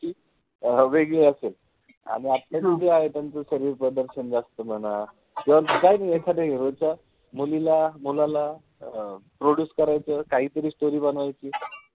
वेगळी असेल. आणि आताचे जे आहे त्यांचं शरीर प्रदर्शन जास्त म्हणा. किंवा एखाद्या hero च्या मुलीला, मुलाला अं produce करायचं. काहीतरी story बनवायची.